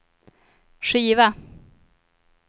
skiva